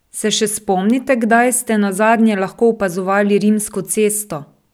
Se še spomnite, kdaj ste nazadnje lahko opazovali Rimsko cesto?